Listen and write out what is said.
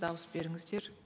дауыс беріңіздер